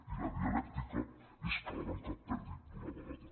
i la dialèctica és que la banca perdi d’una vegada